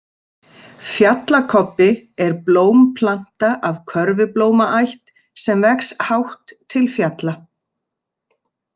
Fjallakobbi er blómplanta af körfublómaætt sem vex hátt til fjalla.